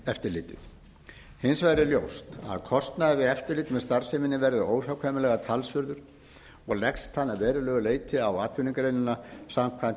eftirlitið hins vegar er ljóst að kostnaður við eftirlit með starfseminni verður óhjákvæmilega talsverður og leggst þannig að verulegu leyti á atvinnugreinina samkvæmt